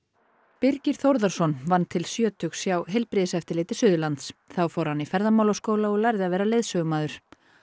Birgir Þórðarson vann til sjötugs hjá Heilbrigðiseftirliti Suðurlands þá fór hann í ferðamálaskóla og lærði að vera leiðsögumaður